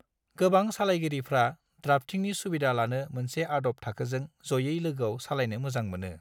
गोबां सालायगिरिफ्रा द्राफ्टिंनि सुबिधा लानो मोनसे आदब थाखोजों जयै लोगोआव सालायनो मोजां मोनो।